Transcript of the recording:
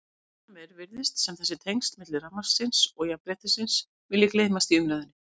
Seinna meir virðist sem þessi tengsl milli rafmagnsins og jafnréttisins vilji gleymast í umræðunni.